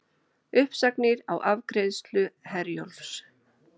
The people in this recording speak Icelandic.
Uppsagnir á afgreiðslu Herjólfs